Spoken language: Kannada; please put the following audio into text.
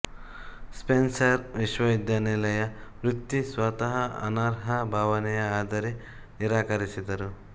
ಸ್ಪೆನ್ಸರ್ ವಿಶ್ವವಿದ್ಯಾನಿಲಯ ವೃತ್ತಿ ಸ್ವತಃ ಅನರ್ಹ ಭಾವನೆ ಆದರೆ ನಿರಾಕರಿಸಿದರು